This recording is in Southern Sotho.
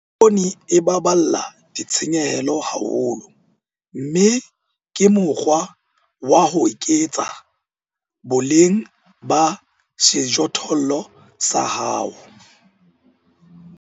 Poone e baballa ditshenyehelo haholo, mme ke mokgwa wa ho eketsa boleng ba sejothollo sa hao.